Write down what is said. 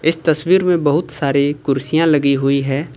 इस तस्वीर में बहुत सारी कुर्सियां लगी हुई हैं।